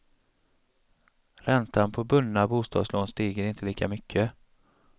Räntan på bundna bostadslån stiger inte lika mycket.